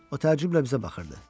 O təəccüblə bizə baxırdı.